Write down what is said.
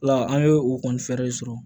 Ola an ye u kɔni fɛɛrɛ sɔrɔ